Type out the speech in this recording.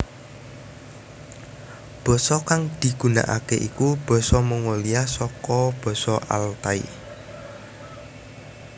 Basa kang digunakake iku basa Mongolia saka basa Altai